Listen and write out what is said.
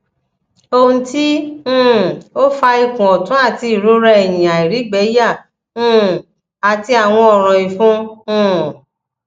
ohun ti um o fa ikun otun ati irora ehin airigbeya um ati awon oran ifun um